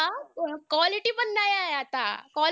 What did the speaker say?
Quality पण नाही आहे आता.